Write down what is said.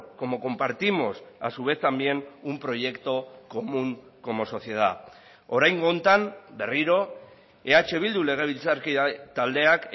como compartimos a su vez también un proyecto común como sociedad oraingo honetan berriro eh bildu legebiltzarkide taldeak